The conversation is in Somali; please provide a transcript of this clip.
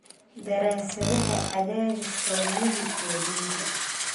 Daraasadaha Cadaadiska Wadnaha iyo Dhiiga.